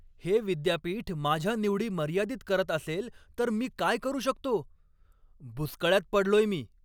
हे विद्यापीठ माझ्या निवडी मर्यादित करत असेल तर मी काय करू शकतो? बुचकळ्यात पडलोय मी!